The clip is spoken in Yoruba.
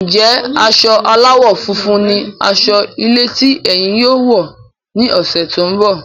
Njẹ asọ aláwọ̀ funfun ní asọ ilé tí ẹyìn yóò wọ ní ọsẹ tó n bọ?